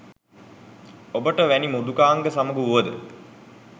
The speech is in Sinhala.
ඔබට වැනි මෘදුකාංග සමග වුවද